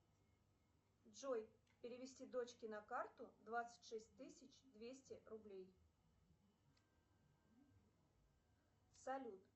джой перевести дочке на карту двадцать шесть тысяч двести рублей салют